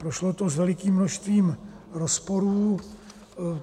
Prošlo to s velikým množstvím rozporů...